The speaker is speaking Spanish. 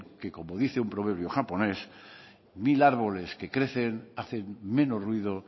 que como dice un proverbio japonés mil árboles que crecen hacen menos ruido